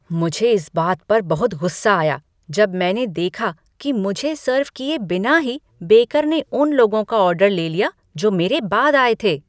मुझे इस बात पर बहुत गुस्सा आया जब मैंने देखा कि मुझे सर्व किए बिना ही बेकर ने उन लोगों का ऑर्डर ले लिया जो मेरे बाद आए थे।